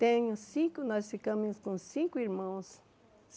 Tenho cinco, nós ficamos com cinco irmãos.